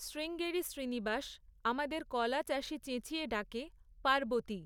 শ্রীঙ্গেরি শ্রীনিবাস, আমাদের কলা চাষী চেঁচিয়ে ডাকে, পার্বতী!